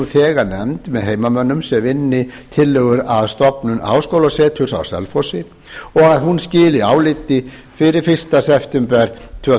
þegar nefnd með heimamönnum sem vinni tillögur að stofnun háskólaseturs á selfossi og að hún skili áliti fyrir fyrsta september tvö